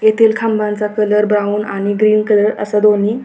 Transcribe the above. येथील खांबाचा colour brown आणि ग्रीन कलर असा दोन्ही--